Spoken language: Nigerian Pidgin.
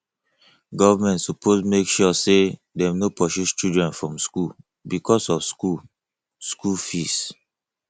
government suppose make sure sey dem no pursue children from skool because of skool skool fees